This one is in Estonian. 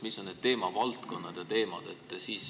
Mis on need teemavaldkonnad ja teemad?